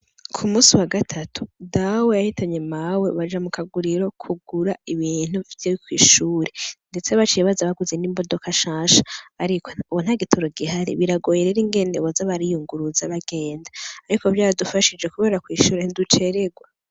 K'umunsi wa gatatu ,Dawe yahitanye mawe baja mukaguriro kugura ibintu vy'umunsi mukuru, ndetse baciye baza baguze n'imodoka nshasha, ariko ubu ntagitoro gihari biragoye ingene baza bariyunguruza bagenda, ariko vyaradufashije kubera kw'ishure ntiducererwa.